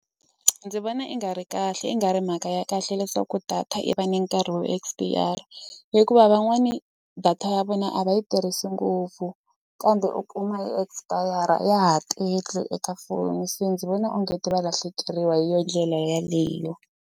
Ndzi vona i nga ri kahle i nga ri mhaka ya kahle leswaku data yi va ni nkarhi wo expire hikuva van'wani data ya vona a va yi tirhisi ngopfu kambe u kuma expire ya ha tele eka foni se ndzi vona onge ti va lahlekeriwa hi yona ndlela yaleyo.